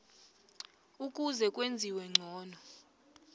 ukuze kwenziwe ngcono